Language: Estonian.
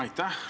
Aitäh!